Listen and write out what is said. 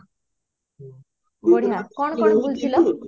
ବଢିଆ କଣ କଣ ସେଠି ବୁଲିଥିଲା